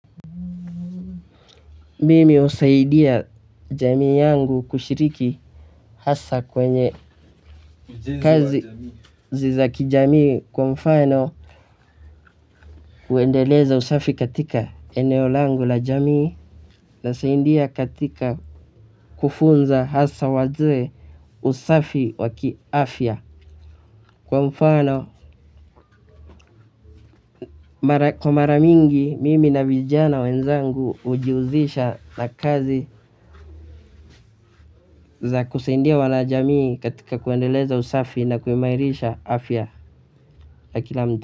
Mimi husaidia jamii yangu kushiriki hasa kwenye kazi za kijamii kwa mfano kuendeleza usafi katika eneo langu la jamii na saidia katika kufunza hasa wazee usafi wa kiafya kwa mfano kwa mara mingi mimi na vijana wenzangu hujihusisha na kazi za kusaidia wanajamii katika kuendeleza usafi na kuimairisha afya ya kila mtu.